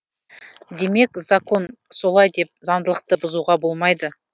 демек закон солай деп заңдылықты бұзуға болмайды